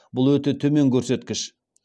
бұл өте төмен көрсеткіш